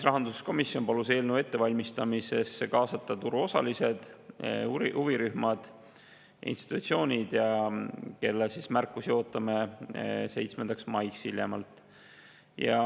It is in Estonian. Rahanduskomisjon palus eelnõu ettevalmistamisse kaasata turuosalised, huvirühmad, institutsioonid, kelle märkusi ootame hiljemalt 7. maiks.